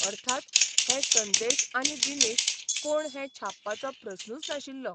अर्थात, हे संदेश आनी दिनेश कोण हें छापपाचो प्रस्नूच नाशिल्लो.